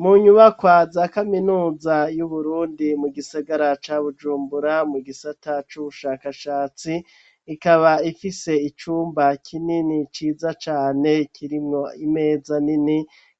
Mu nyubakwa za kaminuza y'Uburundi, mu gisigara ca Bujumbura, mu gisata c'ubushakashatsi; ikaba ifise icumba kinini ciza cane, kirimwo imeza nini,